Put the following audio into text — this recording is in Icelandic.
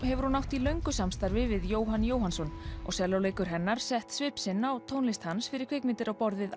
hefur hún átt í löngu samstarfi við Jóhann Jóhannsson og sellóleikur hennar sett svip sinn á tónlist hans fyrir kvikmyndir á borð við